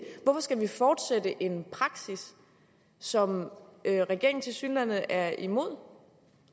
hvorfor skal vi fortsætte en praksis som regeringen tilsyneladende er imod